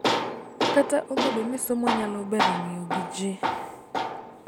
Kata obedo ni somo nyalo bero ng�iyo gi ji,